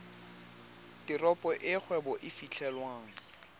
teropo e kgwebo e fitlhelwang